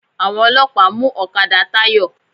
Àwọn ọlọ́pàá mú ọ̀kadà Táyọ̀.